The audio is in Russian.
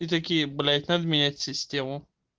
и такие блять надо менять систему